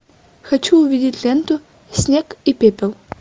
хочу увидеть ленту снег и пепел